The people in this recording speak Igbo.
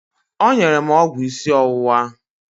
O nyere m ọgwụ ịsị ọwụwa.